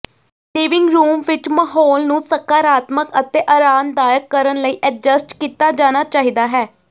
living room ਵਿੱਚ ਮਾਹੌਲ ਨੂੰ ਸਕਾਰਾਤਮਕ ਅਤੇ ਅਰਾਮਦਾਇਕ ਕਰਨ ਲਈ ਐਡਜਸਟ ਕੀਤਾ ਜਾਣਾ ਚਾਹੀਦਾ ਹੈ